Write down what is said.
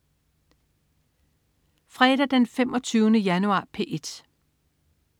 Fredag den 25. januar - P1: